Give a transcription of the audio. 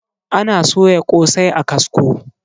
ana soya kosai a kasko